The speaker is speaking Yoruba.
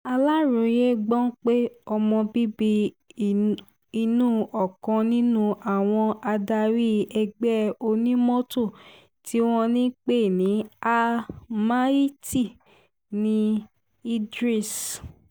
aláròye gbọ́ pé ọmọ bíbí inú ọkàn nínú àwọn adarí ẹgbẹ́ onímọ́tò tí wọ́n ń pè ní al-mahiti ní idris